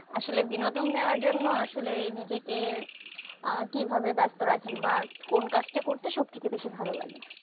আসলে বিনোদন নিয়ার জন্য আসলে নিজেকে কিভাবে ব্যাস্ত রাখেন বা কোন কাজটা করতে সবথেকে বেশি ভালো লাগে